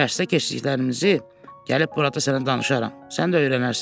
Dərsdə keçdiklərimizi gəlib burada sənə danışaram, sən də öyrənərsən.